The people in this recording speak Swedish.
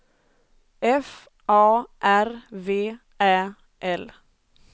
F A R V Ä L